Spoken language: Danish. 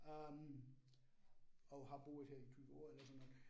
Øh og har boet her i 20 år eller sådan noget